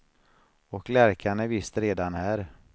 Och lärkan är visst redan här.